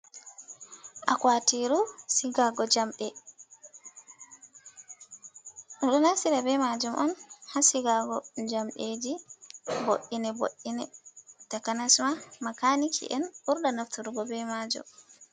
Akwatiru sigago jamɗe, ɓe ɗo naftira be majum on ha sigago jamɗeji vo'iine vo'iine, takasma makaniki en burdaa nafturgo be majum.